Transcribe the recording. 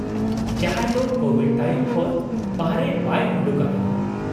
ᱡᱟᱦᱟᱸᱭ ᱫᱚ ᱠᱳᱵᱷᱤᱰ ᱛᱟᱭᱚᱢ ᱠᱷᱚᱱ ᱵᱟᱨᱦᱮ ᱵᱟᱭ ᱚᱰᱩᱠ ᱟᱠᱟᱱᱟ ᱾